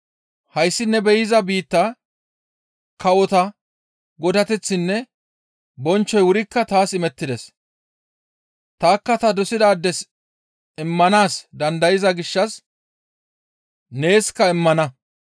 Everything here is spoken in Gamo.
«Hayssi ne be7iza biitta kawota godateththinne bonchchoy wurikka taas imettides; tanikka ta dosizaades immanaas dandayza gishshas neeskka immana.